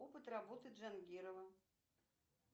опыт работы джангирова